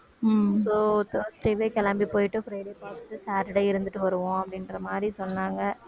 உம் so thursday வே கிளம்பி போயிட்டு friday பார்த்துட்டு saturday இருந்துட்டு வருவோம் அப்படின்ற மாதிரி சொன்னாங்க